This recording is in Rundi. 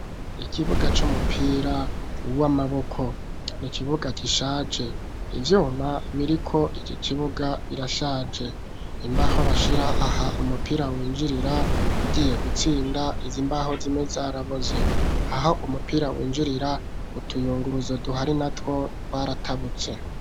Ikibuga c'umupira w'amaboko n'ikibuga gishaje ivyuma biriko iki kibuga birashaje imbaho bashira aha umupira winjirira ugiye gutsinda izi mbaho zimwe zaraboze aho umupira winjirira utuyunguruzo duhari natwo twaratabutse.